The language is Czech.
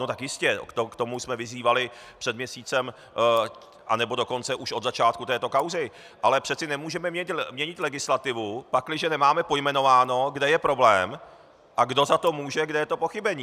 No tak jistě, k tomu jsme vyzývali před měsícem, anebo dokonce už od začátku této kauzy, ale přece nemůžeme měnit legislativu, pakliže nemáme pojmenováno, kde je problém a kdo za to může, kde je to pochybení.